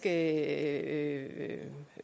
at